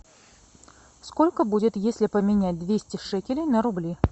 сколько будет если поменять двести шекелей на рубли